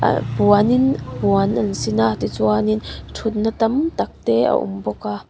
ah puan in puan an sin a tichuan in thutna tam tak te a awm bawk a.